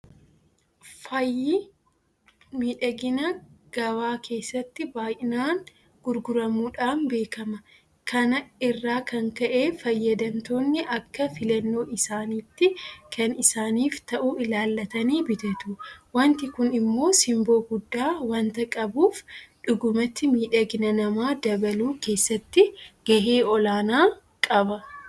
Faayyi miidhaginaa gabaa keessatti baay'inaan gurguramuudhaan beekama. Kana irraa kan ka'e fayyadamtoonni akka filannoo isaaniitti kan isaaniif ta'u ilaallatanii bitatu. Waanti kun immoo simboo guddaa waanta qabuuf dhugumatti miidhagina namaa dabaluu keessatti gahee olaanaa qaba.